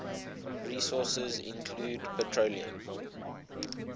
resources include petroleum